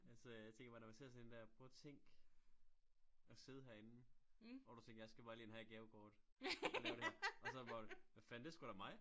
Altså jeg tænker bare når man ser sådan en dér prøv at tænk og sidde herinde og du tænker jeg skal bare lige ind og have et gavekort og lave det her og så det bare hva fanden det sgu da mig